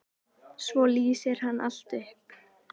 Svo lýsir hann allt upp.